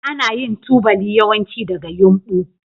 Ana yin tubali yawanci daga yumbu.